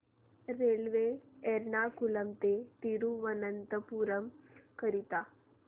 railway Ernakulam ते थिरुवनंतपुरम करीता